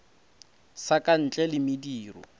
sa ka ntle le mediro